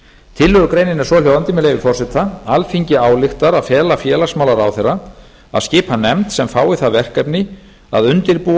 tillögugreinin er svohljóðandi með leyfi forseta alþingi ályktar að fela félagsmálaráðherra að skipa nefnd sem fái það verkefni að undirbúa